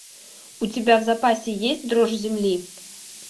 у тебя в запасе есть дрожь земли